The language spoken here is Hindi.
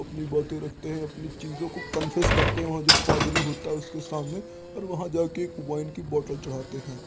अपनी बाते रखते हैं अपनी चीजो को कन्फेस करते हैं। वहाँ जो पादरी होता हें उसके सामने और वहाँ जाके एक वाईन की बॉटल चढ़ाते है।